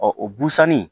Ɔ o busani